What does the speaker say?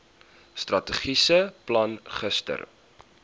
strategiese plan gister